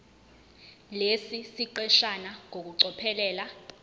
lesi siqeshana ngokucophelela